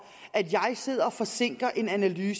at de